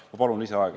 Jah, ma palun lisaaega.